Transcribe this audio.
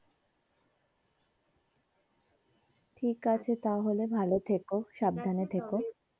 ঠিকাছে তাহলে ভালো থেকো সাবধানে থেকো।